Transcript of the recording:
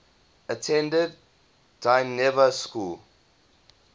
attended dynevor school